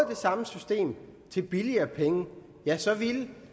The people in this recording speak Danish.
det samme system til billigere penge ja så ville